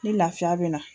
Ni lafiya be na